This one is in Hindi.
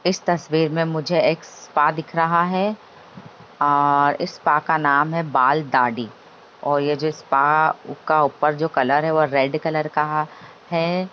इस तस्वीर में मुझे एक स्पा दिख रहा है और इस स्पा का नाम है बाल-दाढ़ी और यह जो स्पा का ऊपर का कलर है वो रेड कलर का है।